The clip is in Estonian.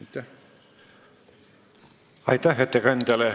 Aitäh ettekandjale!